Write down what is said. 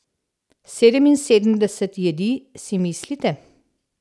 Sedeminsedemdeset jedi, si mislite?